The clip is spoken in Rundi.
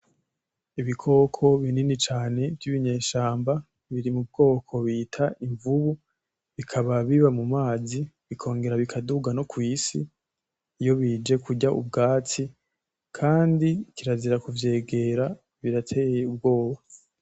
Ibikoko binini cane vy'ibinyeshamba biri mu bwoko bita imvubu bikaba biba mumazi bikongera bikaduga no kw'isi iyo bije kurya ubwatsi. Kandi kirazira kuvyegera birateye ubwoba.